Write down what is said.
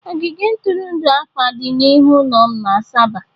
Ogige ntụrụndụ akpa dị n'ihu ụlọ m na Asaba.